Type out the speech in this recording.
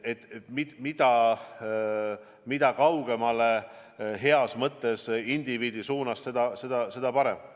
Heas mõttes mida kaugemale indiviidi suunas, seda parem.